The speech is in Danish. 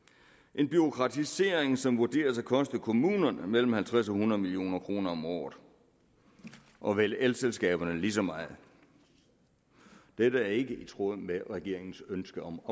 en bureaukratisering som vurderes at koste kommunerne mellem halvtreds og hundrede million kroner om året og vel elselskaberne lige så meget dette er ikke i tråd med regeringens ønske om